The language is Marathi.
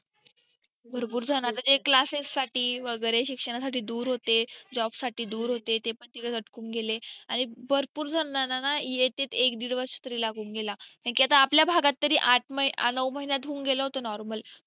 भरपूर जन आता जे classes साठी वगेरे शिक्षणा साठी दूर होते job साठी दूर होते ते पण तिथेच अटकून गेले आणि भरपूर जणांना ना एक ते दीड वर्षं तरी लागून गेला आपल्या भागात तरी आठ नऊ महिन्यात होऊन गेलं होतं normal